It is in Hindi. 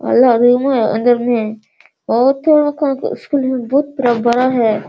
है उधर में पूरा बड़ा है |